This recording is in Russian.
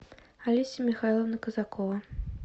олеся михайловна казакова